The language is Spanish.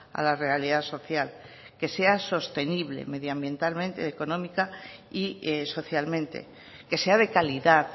a la realidad social que sea sostenible medioambientalmente económica y socialmente que sea de calidad